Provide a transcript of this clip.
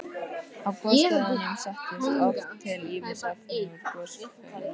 Á gosstöðvunum setjast oft til ýmis efni úr gosgufunum.